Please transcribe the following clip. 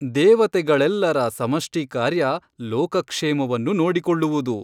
ದೇವತೆಗಳೆಲ್ಲರ ಸಮಷ್ಟಿ ಕಾರ್ಯ ಲೋಕಕ್ಷೇಮವನ್ನು ನೋಡಿಕೊಳ್ಳುವುದು.